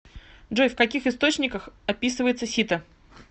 джой в каких источниках описывается сита